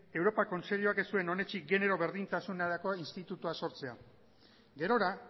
europa kontseiluak ez zuen onetsi genero berdintasunerako institutua sortzea gerora